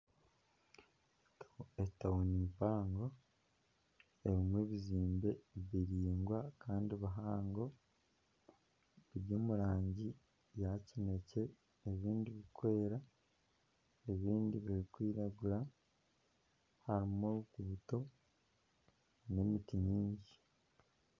Etawuni mpango erumu ebizimbe biraingwa Kandi bihango biri omurangi ya kinekye ebindi birukwera ebindi birukwiragura harumu emiti n'emiti nyingi.